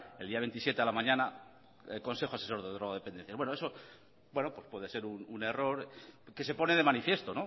el día veintisiete a la mañana el consejo asesor de drogodependencias bueno eso puede ser un error que se pone de manifiesto